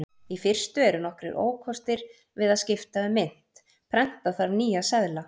Í fyrstu eru nokkrir ókostir við að skipta um mynt: Prenta þarf nýja seðla.